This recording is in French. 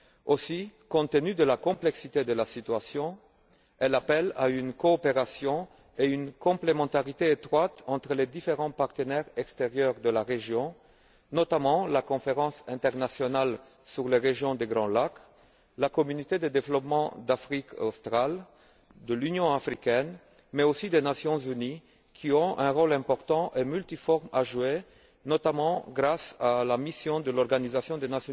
Aussi, compte tenu de la complexité de la situation, elle appelle à une coopération et à une complémentarité étroites entre les différents partenaires extérieurs de la région, notamment la Conférence internationale sur la régions des Grands Lacs, la Communauté de développement d'Afrique australe, l'Union africaine, mais aussi les Nations unies, qui ont un rôle important et multiforme à jouer, notamment grâce à la mission de l'Organisation des